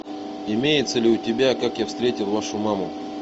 имеется ли у тебя как я встретил вашу маму